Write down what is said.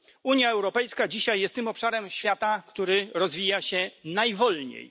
Unia Europejska jest dzisiaj tym obszarem świata, który rozwija się najwolniej.